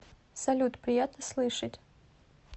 салют приятно слышать